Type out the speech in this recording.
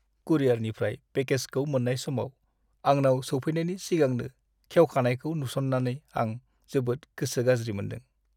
कुरियारनिफ्राय पेकेजखौ मोन्नाय समाव आंनाव सौफैनायनि सिगांनो गेवखानायखौ नुस'न्नानै आं जोबोद गोसो गाज्रि मोनदों।